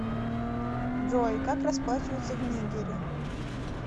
джой как расплачиваться в нигере